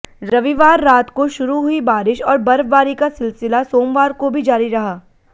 रविवार रात को शुरू हुई बारिश और बर्फबारी का सिलसिला सोमवार को भी जारी रहा